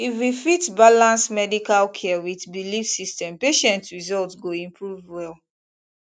if we fit balance medical care with belief system patient result go improve well